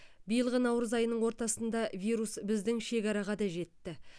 биылғы наурыз айының ортасында вирус біздің шекараға да жетті